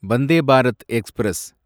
Vande Bharat express